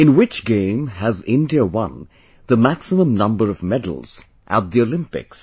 In which game has India won the maximum number of medals at the Olympics